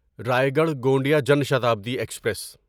Raigarh Gondia Jan Shatabdi express